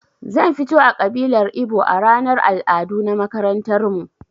Zan fito a ƙabilar ibo a ranar al'adu na makarantarmu